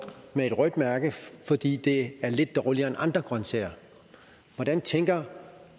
med et rødt mærke fordi de er lidt dårligere end andre grønsager hvordan tænker